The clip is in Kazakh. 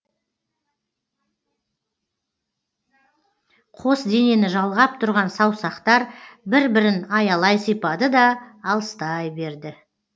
қос денені жалғап тұрған саусақтар бір бірін аялай сипады да алыстай берді